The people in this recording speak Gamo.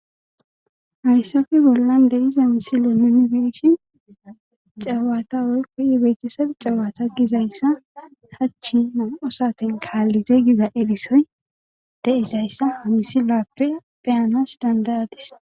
Arisofi bollan de iza misile nunibeshin cawata woykkoyi beetesad cawata gizayssa hachi osaten kaallite giza elisoy deizayssa h misilappe pheyanas dandaradis